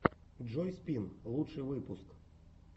джой спин лучший выпуск